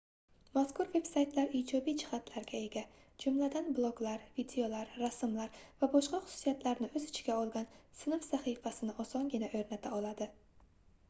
mazkur veb-saytlar ijobiy jihatlarga ega jumladan bloglar videolar rasmlar va boshqa xususiyatlarni oʻz ichiga olgan sinf sahifasini osongina oʻrnata oladi